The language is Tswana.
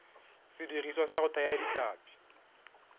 sediriswa sa go thaya ditlhapi